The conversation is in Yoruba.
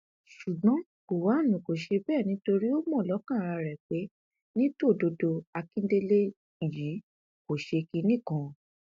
ṣùgbọn gọwọn kò ṣe bẹẹ nítorí ó mọ lọkàn ara rẹ pé ní tòdodo àkíndélẹ yìí kò ṣe kinní kan